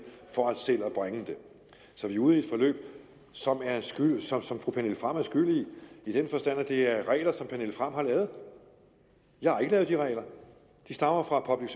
for selv at bringe det så vi er ude i et forløb som fru pernille frahm er skyld i i den forstand at det er regler som fru pernille frahm har lavet jeg har ikke lavet de regler de stammer fra public